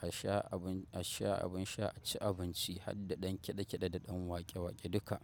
a sha abun. A sha abun sha a ci abinci har da ɗan kiɗe-kiɗe da ɗan waƙe-waƙe duka.